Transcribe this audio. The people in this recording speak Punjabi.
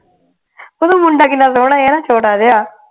ਓਦਾ ਮੁੰਡਾ ਕਿੰਨਾ ਸੋਹਣਾ ਆ ਨਾ ਛੋਟਾ ਜਿਹਾ